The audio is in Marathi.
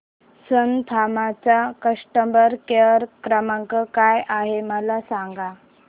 सन फार्मा चा कस्टमर केअर क्रमांक काय आहे मला सांगा